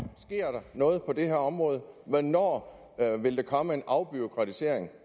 sker der noget på det her område hvornår vil der komme en afbureaukratisering